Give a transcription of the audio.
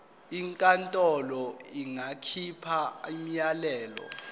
inkantolo ingakhipha umyalelo